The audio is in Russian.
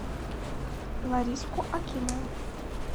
лариску акимову